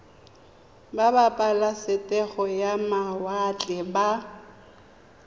ba pabalesego ya mawatle ba